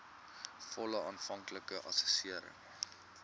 volle aanvanklike assessering